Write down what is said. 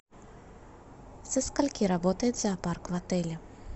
со скольки работает зоопарк в отеле